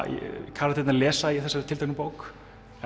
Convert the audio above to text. karakterarnir lesa í þessari tilteknu bók